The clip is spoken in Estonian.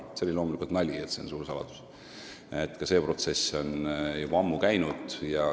See on loomulikult nali, et see on suur saladus – ka see protsess on juba ammu käinud.